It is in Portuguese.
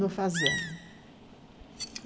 No Fazano.